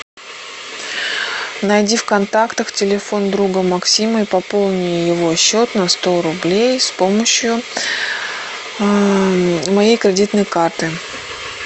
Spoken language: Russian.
найди в контактах телефон друга максима и пополни его счет на сто рублей с помощью моей кредитной карты